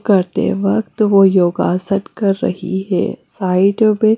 करते वक्त वो योगासन कर रही है साइड में--